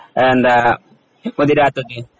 എന്താ മുതിരാത്തത്?